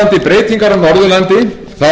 breytingar á norðurlandi þá